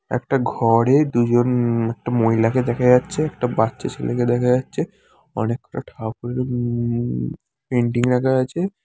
একটা ঘ-রে দুজন একটা মহিলাকে দেখা যাচ্ছে একটা বাচ্চা ছেলেকে দেখা যাচ্ছে অনেকটা ঠাকুর উমম পেন্টিং রাখা আছে।